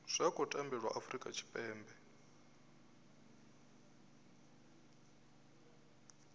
zwa khou tambelwa afurika tshipembe